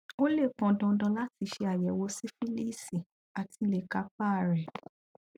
ó lè pọn dandan láti ṣe àyẹwò sífílíìsì áti lè kápá a rẹ